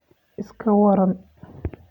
iska waran